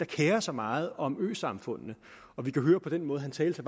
kerer sig meget om øsamfundene og vi kan høre på den måde han talte